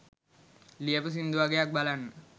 ලියපු සින්දු වගයක් බලන්න